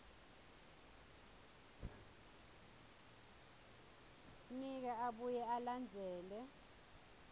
nika abuye alandzele